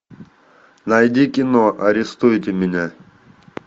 найди кино арестуйте меня